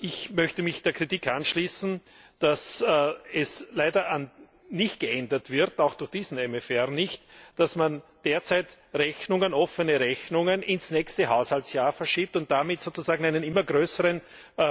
Ich möchte mich der Kritik anschließen, dass es leider nicht geändert wird auch durch diesen MFR nicht dass man derzeit offene Rechnungen ins nächste Haushaltsjahr verschiebt, und damit sozusagen in immer größeren